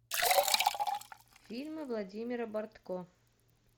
фильмы владимира бортко